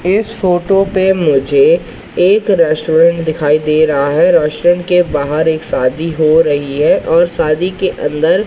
इस फोटो पे मुझे एक रेस्टोरेंट दिखाई दे रहा है रेस्टोरेंट के बाहर एक शादी हो रही है और शादी के अंदर--